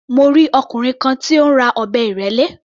Mo rí ọkùnrin kan tí ó ń ra ọ̀bẹ ìrẹ́lé.